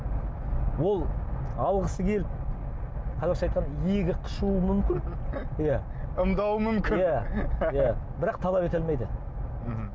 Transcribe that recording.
ол алғысы келіп қазақша айтқанда иегі қышуы мүмкін иә ымдауы мүмкін иә иә бірақ талап ете алмайды мхм